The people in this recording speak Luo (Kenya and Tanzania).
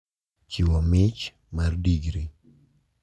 Chiwo mich mar digri.